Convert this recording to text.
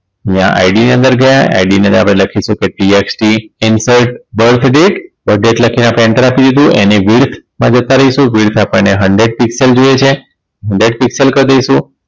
અને આ ID ની અંદર ગયા ID ની અંદર આપણે લખ્યું TXT insert birth date birth date લખી આપણે enter આપી દીધું એને width માં જતા રહીશું width આપણને hundred piscal જોઈએ છે hundred piscal કર દઈશું